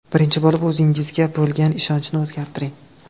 Birinchi bo‘lib o‘zingizga bo‘lgan ishonchni o‘zgartiring.